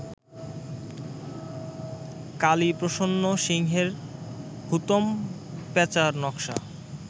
কালীপ্রসন্ন সিংহের হুতোম প্যাঁচার নক্শা